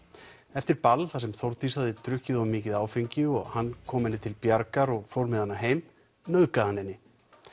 eftir ball þar sem Þórdís hafði drukkið of mikið áfengi og hann kom henni til bjargar og fór með hana heim nauðgaði hann henni